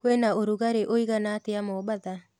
kwĩnaũrũgarĩũĩgana atĩa mombatha